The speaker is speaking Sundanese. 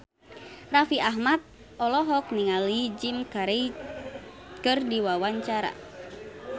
Raffi Ahmad olohok ningali Jim Carey keur diwawancara